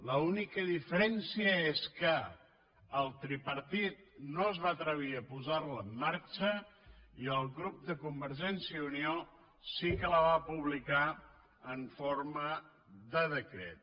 l’única diferència és que el tripartit no es va atrevir a posar la en marxa i el grup de convergència i unió sí que la va publicar en forma de decret